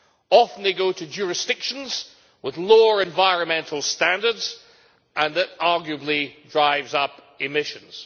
Often these go to jurisdictions with lower environmental standards, and that arguably drives up emissions.